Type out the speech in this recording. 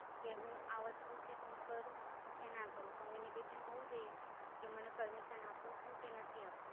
કે હું આ વસ્તુ છે તો હું કરું કે ના કરું? Communication હોવું જોઈએ કે મને Permission આપો છો કે નથી આપતા.